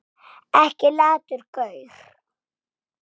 Ekki latur gaur!